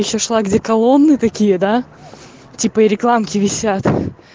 ещё шла до коломны такие да типа и рекламки висят